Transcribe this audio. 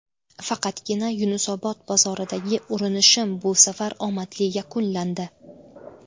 Faqatgina Yunusobod bozoridagi urinishim bu safar omadli yakunlandi.